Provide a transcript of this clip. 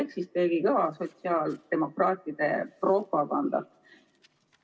Ehk siis tegi kõvasti sotsiaaldemokraatide propagandat.